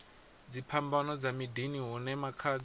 dziphambano dza miḓini hune makhadzi